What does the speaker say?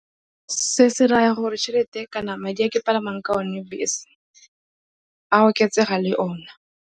Se se raya gore tšhelete kana madi a ke palamang ka one bese a oketsega le ona.